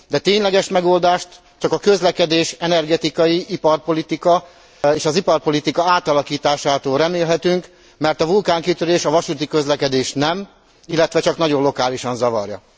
De tényleges megoldást csak a közlekedés, energetikai iparpolitika és az iparpolitika átalakításától remélhetünk, mert a vulkánkitörés a vasúti közlekedést nem, illetve csak nagyon lokálisan zavarja.